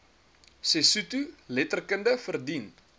sesotho letterkunde verdien